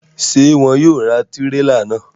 Ṣe wọn yóò ra tirela náà?